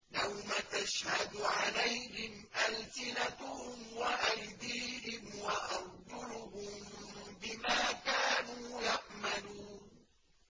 يَوْمَ تَشْهَدُ عَلَيْهِمْ أَلْسِنَتُهُمْ وَأَيْدِيهِمْ وَأَرْجُلُهُم بِمَا كَانُوا يَعْمَلُونَ